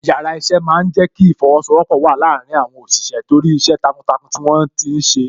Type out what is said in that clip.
Yàrá iṣẹ́ máa ń jẹ kí ìfosowọpọ̀ wà láàárín àwọn òṣìṣẹ́ torí iṣẹ́ takuntakun tí wọ́n ti ṣe.